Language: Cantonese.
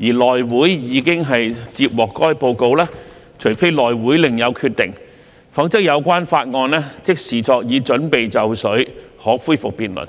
而內會已接獲該報告，除非內會另有決定，否則有關法案即視作已準備就緒可恢復辯論。